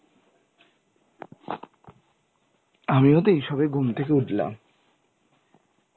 আমিও তো এই সবে ঘুম থেকে উঠলাম.